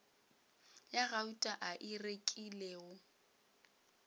ya gauta a e rekilego